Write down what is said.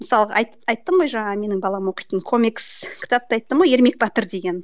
мысалға айттым ғой жаңа менің балам оқитын комикс кітапты айттым ғой ермек батыр деген